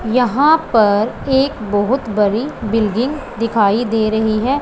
यहां पर एक बहोत बड़ी बिल्डिंग दिखाई दे रही है।